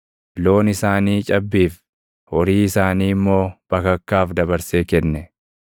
Loon isaanii cabbiif, horii isaanii immoo bakakkaaf dabarsee kenne.